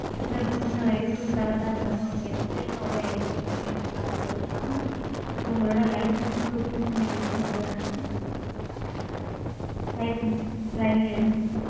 இன்னொரு இன்னொரு IDproof தர்றதா இருந்தாலும் okay sir, இல்ல ஓரே IDrpoof ல நீங்க ரெண்டு car கூட எடுக்கலாம். so, உங்களோட licence proof ம் எங்களுக்கு கொண்டு வரணும். license, driving license.